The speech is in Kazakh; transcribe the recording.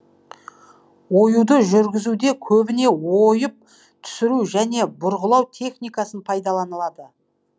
оюды жүргізуде көбіне ойып түсіру және бұрғылау техникасы пайдаланылды